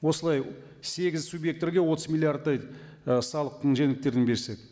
осылай сегіз субъекттерге отыз миллиардтай ы салықтың жеңілдіктерін берсек